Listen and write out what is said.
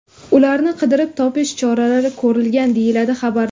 Ularni qidirib topish choralari ko‘rilgan deyiladi xabarda.